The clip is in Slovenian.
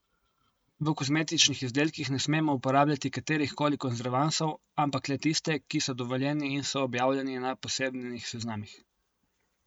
V kozmetičnih izdelkih ne smemo uporabljati katerih koli konzervansov, ampak le tiste, ki so dovoljeni in so objavljeni na posebnih seznamih.